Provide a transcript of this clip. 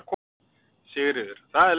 Sigríður: Það er leiðinlegt?